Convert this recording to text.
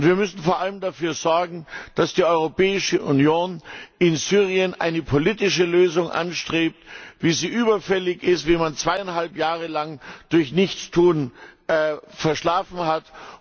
Wir müssen vor allem dafür sorgen, dass die Europäische Union in Syrien eine politische Lösung anstrebt, die überfällig ist, nachdem man über zweieinhalb Jahre lang durch Nichtstun verschlafen hat.